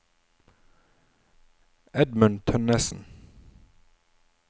Edmund Tønnesen